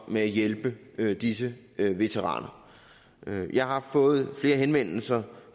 med at hjælpe disse veteraner jeg har fået flere henvendelser